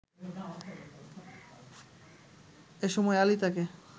এসময় আলী তাকে